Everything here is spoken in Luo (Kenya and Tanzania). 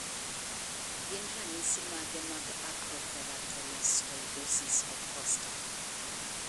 Gin ranyisis mage mag Acrokeratoelastoidosis of Costa?